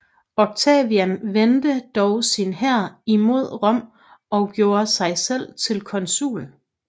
Octavian vendte dog sin hær imod Rom og gjorde sig selv til consul